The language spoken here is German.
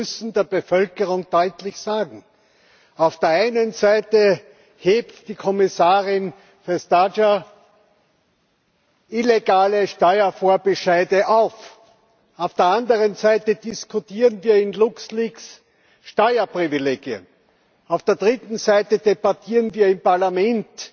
Denn wir müssen der Bevölkerung deutlich sagen Auf der einen Seite hebt die Kommissarin Vestager illegale Steuervorbescheide auf, auf der anderen Seite diskutieren wir in LuxLeaks Steuerprivilegien, auf der dritten Seite debattieren wir im Parlament